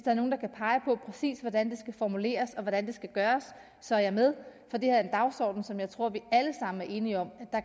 er nogen der kan pege på præcis hvordan det skal formuleres og hvordan det skal gøres så er jeg med for det her er en dagsorden som jeg tror